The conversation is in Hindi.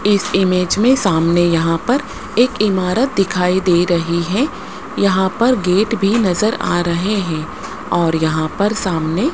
इस इमेज में सामने यहां पर एक इमारत दिखाई दे रही है यहां पर गेट भी नजर आ रहे हैं और यहां पर सामने--